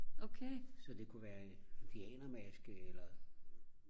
så det kunne være en pianomaske eller